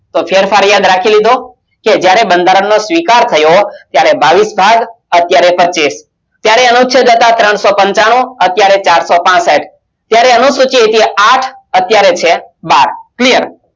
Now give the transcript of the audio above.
તો ફેરફાર યાદ રાખી લીધો કે જ્યારે બંધારણનો સ્વીકાર થયો ત્યારે બાવીસ ભાગ અત્યારે પચીસ ત્યારે અનુચ્છેદ હતા ત્રણસો પંચાણુ અત્યારે ચારસો પાંસઠ ત્યારે અનુસૂચિ હતી આંઠ અત્યારે છે બાર clear